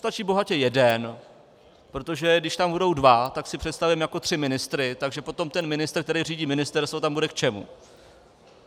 Stačí bohatě jeden, protože když tam budou dva, tak si představím jako tři ministry, takže potom ten ministr, který řídí ministerstvo, tam bude k čemu?